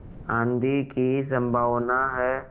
आँधी की संभावना है